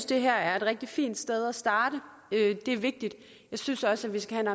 det her er et rigtig fint sted at starte det er vigtigt jeg synes også at vi skal have